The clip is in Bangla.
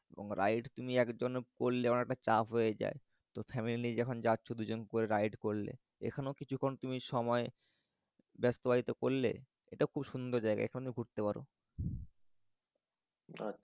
ride তুমি একজন করলে চাপ হয়ে যায়। তো family যখন জাচ্ছ দুজন দুজন করে ride করলে এখানেও কিছুক্ষণ তুমি সময় ব্যস্তব্যায়িত করলে এটা খুব সুন্দর জায়গা এখানেও ঘুরতে পারো।